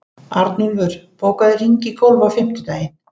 Arnúlfur, bókaðu hring í golf á fimmtudaginn.